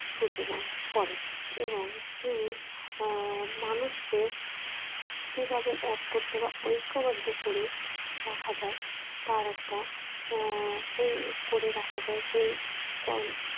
সূচনা করেন এবং তিনি আহ মানুষকে কিভাবে এক করতে বা ঐক্যবদ্ধ করে রাখা যায় তার একটা আহ সেই করে রাখা যায় সেই কর